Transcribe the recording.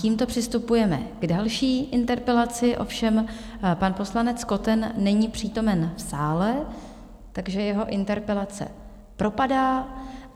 Tímto přistupujeme k další interpelaci, ovšem pan poslanec Koten není přítomen v sále, takže jeho interpelace propadá.